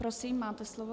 Prosím, máte slovo.